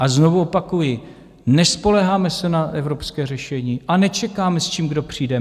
A znovu opakuji, nespoléháme se na evropské řešení a nečekáme, s čím kdo přijde.